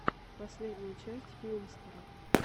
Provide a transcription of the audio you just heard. последняя часть филмстера